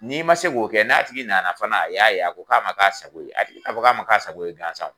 N'i ma se k'o kɛ n'a tigi nana fana a y'a ye a ko a ma k'a sago ye a tigi ti na fɔ k'a ma k'a sago ye gansa o